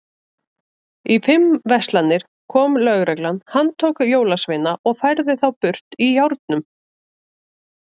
Í fimm verslanir kom lögreglan, handtók jólasveina og færði þá burt í járnum.